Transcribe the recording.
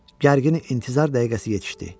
Gərgin intizar dəqiqəsi yetişdi.